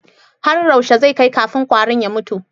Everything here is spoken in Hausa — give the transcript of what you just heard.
Har yaushe zai kai kafin kwarin ya mutu?